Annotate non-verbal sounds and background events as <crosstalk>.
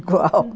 <laughs> igual.